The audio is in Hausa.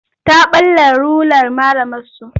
Ta ɓalla rular malamarsu.